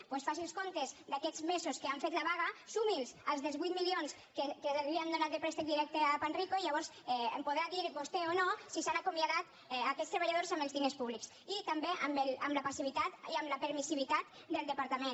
per tant faci els comptes d’aquests mesos que han fet la vaga sumi’ls als dels vuit milions que li han donat de préstec directe a panrico i llavors em podrà dir vostè o no si s’han acomiadat aquests treballadors amb els diners públics i també amb la passivitat i amb la permissivitat del departament